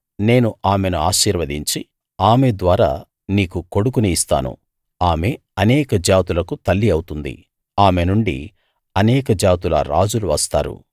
నేను ఆమెను ఆశీర్వదించి ఆమె ద్వారా నీకు కొడుకుని ఇస్తాను ఆమె అనేక జాతులకు తల్లి అవుతుంది ఆమె నుండి అనేక జాతుల రాజులు వస్తారు